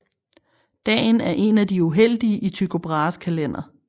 Dagen er en af de uheldige i Tycho Brahes kalender